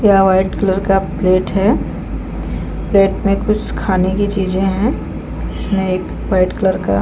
यह white colour का plate है प्लेट में कुछ खाने की चीजे है जिसमे एक वाइट कलर का--